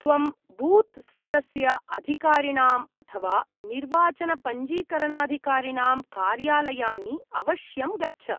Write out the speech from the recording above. त्वं बूत् स्तरस्य अधिकारिणाम् अथवा निर्वाचनपञ्जीकरणाधिकारिणां कार्यालयानि अवश्यं गच्छ।